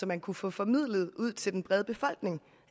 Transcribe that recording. man kunne få formidlet ud til den brede befolkning